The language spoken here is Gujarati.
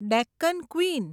ડેક્કન ક્વીન